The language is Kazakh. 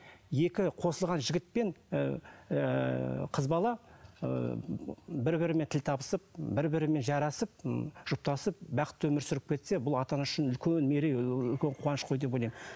екі қосылған жігіт пен ыыы қыз бала ыыы бір бірімен тіл табысып бір бірімен жарасып ммм жұптасып бақытты өмір сүріп кетсе бұл ата ана үшін үлкен мерей үлкен қуаныш қой деп ойлаймын